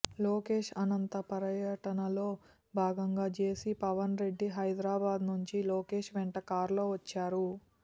లోకేష్ అనంత పర్యటనలో భాగంగా జేసీ పవన్ రెడ్డి హైదరాబాద్ నుంచి లోకేష్ వెంట కారులో వచ్చారు